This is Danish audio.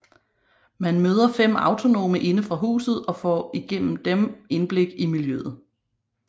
Man møder fem autonome inde fra huset og får gennem dem indblik i miljøet